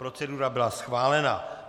Procedura byla schválena.